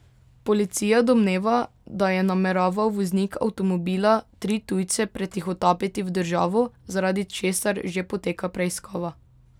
Policija domneva, da je nameraval voznik avtomobila tri tujce pretihotapiti v državo, zaradi česar že poteka preiskava.